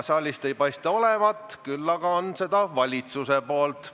Saalist ei paista neid olevat, küll aga on valitsuselt.